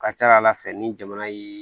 Ka ca ala fɛ ni jamana ye